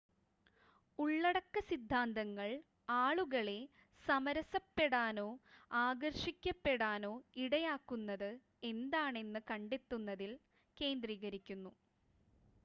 ഉള്ളടക്ക സിദ്ധാന്തങ്ങൾ ആളുകളെ സമരസപ്പെടാനോ ആകർഷിക്കപ്പെടാനോ ഇടയാക്കുന്നത് എന്താണെന്ന് കണ്ടെത്തുന്നതിൽ കേന്ദ്രീകരിക്കുന്നു